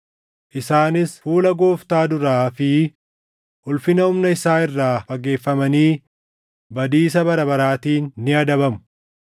Isaanis fuula Gooftaa duraa fi ulfina humna isaa irraa fageeffamanii badiisa bara baraatiin ni adabamu;